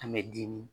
An bɛ dimi